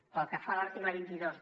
pel que fa a l’article vint dos